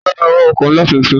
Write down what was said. Ta ló máa wa ọkọ̀ ńlá tuntun?